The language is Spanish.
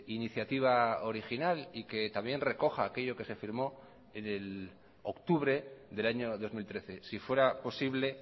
iniciativa original y que también recoja aquello que se firmó en el octubre del año dos mil trece si fuera posible